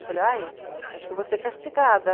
Falei, ai acho que eu vou ser castigada.